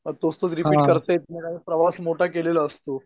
मग तोच तोच रिपीट करता येत नाही प्रवास मोठा केलेला असतो.